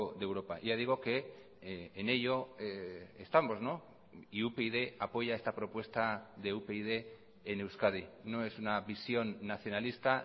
de europa ya digo que en ello estamos y upyd apoya esta propuesta de upyd en euskadi no es una visión nacionalista